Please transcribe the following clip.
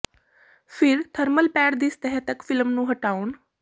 ਫਿਰ thermal pad ਦੀ ਸਤਹ ਤੱਕ ਫਿਲਮ ਨੂੰ ਹਟਾਉਣ